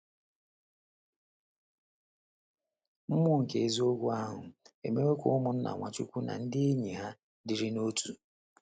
“ Mmụọ nke eziokwu ahụ ” emewo ka ụmụnna Nwachukwu na ndị enyi ha dịrị n’otu.